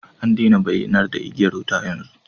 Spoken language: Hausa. An daina bayyanar da igiyar wuta yanzu